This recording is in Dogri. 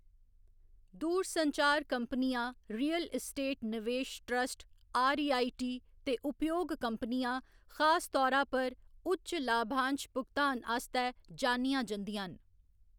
दूरसंचार कंपनियां, रियल एस्टेट नवेश ट्रस्ट, आरईआईटी, ते उपयोग कंपनियां, खास तौरा पर, उच्च लाभांश भुगतान आस्तै जानियां जंदियां न।